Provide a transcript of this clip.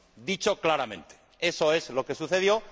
Dicho claramente eso es lo que sucedió.